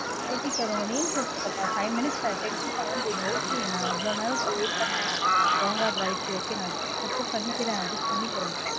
okay sir. உங்க name சொல்லுங்க. five minutes ten to seven minutes றீங்க. okay நா இவ்ளோ நேரம் wait பண்ணேன். wrong order ஆயிருச்சு okay. நா accept பண்ணிக்கறேன். adjust பண்ணிக்கறேன்.